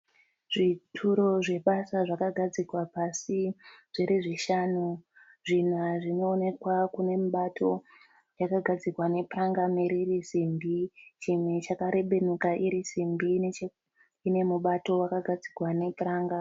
Zvituro zvebasa zvakagadzikwa pasi zviri zvishanu. Zvina zvinoonekwa kune mubato yakagadzikwa nepuranga muviri iri simbi. Chimwe chakarebenuka iri simbi chine mubato wakagadzirwa nepuranga.